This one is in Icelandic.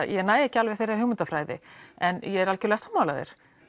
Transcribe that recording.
ég næ ekki alveg þeirri hugmyndafræði en ég er algerlega sammála þér